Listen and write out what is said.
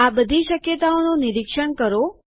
આ બધી શક્યતાઓનું નિરીક્ષણ કરો